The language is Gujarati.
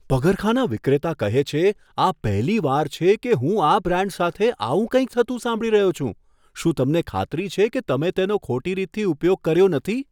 પગરખાંના વિક્રેતા કહે છે, આ પહેલીવાર છે કે હું આ બ્રાન્ડ સાથે આવું કંઈક થતું સાંભળી રહ્યો છું. શું તમને ખાતરી છે કે તમે તેનો ખોટી રીતથી ઉપયોગ કર્યો નથી?